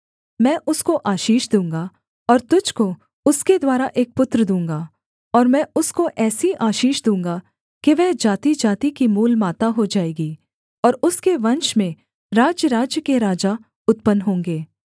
मैं उसको आशीष दूँगा और तुझको उसके द्वारा एक पुत्र दूँगा और मैं उसको ऐसी आशीष दूँगा कि वह जातिजाति की मूलमाता हो जाएगी और उसके वंश में राज्यराज्य के राजा उत्पन्न होंगे